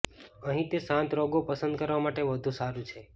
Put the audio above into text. અહીં તે શાંત રંગો પસંદ કરવા માટે વધુ સારું છે